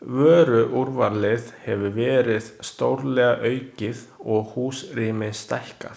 Vöruúrvalið hefur verið stórlega aukið og húsrými stækkað.